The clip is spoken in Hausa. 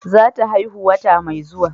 Za ta haihu wata mai zuwa